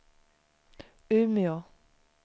Umeå